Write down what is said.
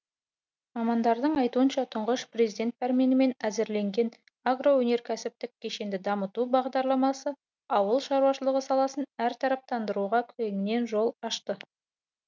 мамандардың айтуынша тұңғыш президент пәрменімен әзірленген агроөнеркәсіптік кешенді дамыту бағдарламасы ауыл шаруашылығы саласын әртараптандыруға кеңінен жол ашты